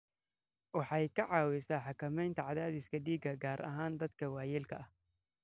Waxay ka caawisaa xakamaynta cadaadiska dhiigga, gaar ahaan dadka waayeelka ah.